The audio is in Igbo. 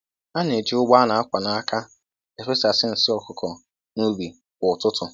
A na-eji ụgbọ a na-akwa n'aka efesasị nsị ọkụkọ n'ubi kwa ụtụtụ